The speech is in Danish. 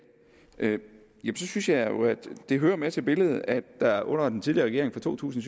synes jeg det hører med til billedet at der under den tidligere regering fra to tusind